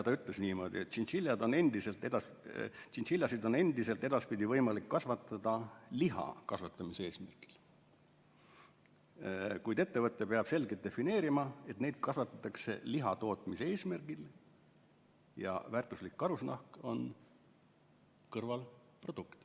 Ta ütles niimoodi, et tšintšiljasid on endiselt võimalik kasvatada liha kasvatamise eesmärgil, kuid ettevõte peab selgelt defineerima, et neid kasvatatakse lihatootmise eesmärgil ja väärtuslik karusnahk on kõrvalprodukt.